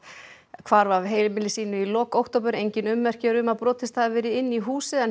hvarf af heimili sínu í lok október engin ummerki eru um að brotist hafi verið inn í húsið en